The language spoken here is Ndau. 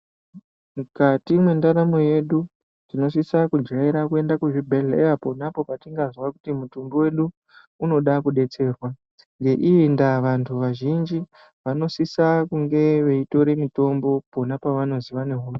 Mukati mwendaramo yedu tinosisa kujaira kuenda kuzvibhedhlera ponapo patingazwa kuti mutumbi wedu unoda kudetserwa. Ngeiyi ndaa vantu vazhinji vanosisa kunge veitore mitombo panopavanozi vane hosha